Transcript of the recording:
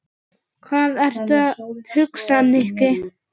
Hvað ertu að hugsa, Nikki?